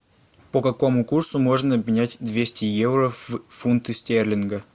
по какому курсу можно обменять двести евро в фунты стерлинга